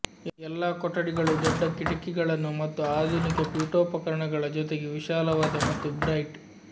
ಎಲ್ಲಾ ಕೊಠಡಿಗಳು ದೊಡ್ಡ ಕಿಟಕಿಗಳನ್ನು ಮತ್ತು ಆಧುನಿಕ ಪೀಠೋಪಕರಣಗಳ ಜೊತೆಗೆ ವಿಶಾಲವಾದ ಮತ್ತು ಬ್ರೈಟ್